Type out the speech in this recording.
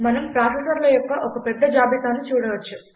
మనం ప్రాసెసర్ల యొక్క ఒక పెద్ద జాబితాను చూడవచ్చు